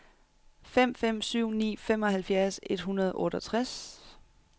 fem fem syv ni femoghalvfjerds et hundrede og otteogtres